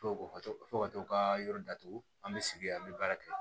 To ka to fo ka to ka yɔrɔ datugu an bɛ sigi an bɛ baara kɛ